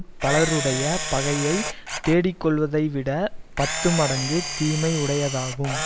பலருடைய பகையை தேடிக் கொள்வதைவிடப் பத்து மடங்கு தீமை உடையதாகும்